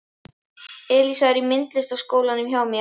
Elísa er í myndlistaskólanum hjá mér.